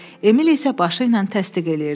Emil isə başı ilə təsdiq edirdi.